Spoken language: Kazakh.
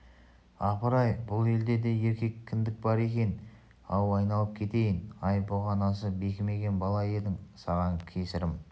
апыр-ай бұл елде де еркек кіндік бар екен-ау айналып кетейін-ай бұғанасы бекімеген бала едің саған кесірім